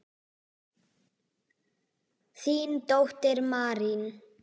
Þín dóttir, Marín.